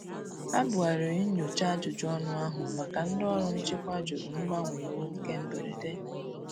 Ha bu ghariri nnyocha ajụjụ ọnụ ahu maka ndi ọrụ nchịkwa jụrụ mgbanwe iwu nke mgberede.